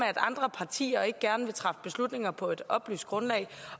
andre partier gerne vil træffe beslutninger på et oplyst grundlag